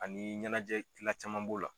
Ani ɲɛnajɛ gila caman b'o la.